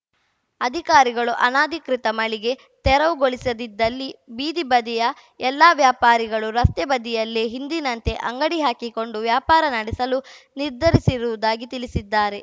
ಅಧಿಕಾರಿಗಳು ಅನಧಿಕೃತ ಮಳಿಗೆ ತೆರವುಗೊಳಿಸದಿದ್ದಲ್ಲಿ ಬೀದಿ ಬದಿಯ ಎಲ್ಲಾ ವ್ಯಾಪಾರಿಗಳು ರಸ್ತೆ ಬದಿಯಲ್ಲೇ ಹಿಂದಿನಂತೆ ಅಂಗಡಿ ಹಾಕಿಕೊಂಡು ವ್ಯಾಪಾರ ನಡೆಸಲು ನಿರ್ಧರಿಸಿರುವುದಾಗಿ ತಿಳಿಸಿದ್ದಾರೆ